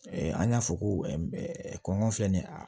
an y'a fɔ ko kɔngɔ filɛ nin ye a